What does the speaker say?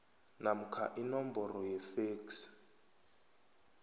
namkha inomboro yefeksi